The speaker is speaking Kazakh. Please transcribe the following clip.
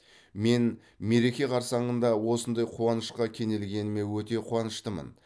мен мереке қарсаңында осындай қуанышқа кенелгеніме өте қуаныштымын